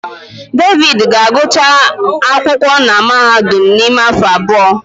David ga-agụcha akwụkwọ na mahadum n'ime afọ abụọ.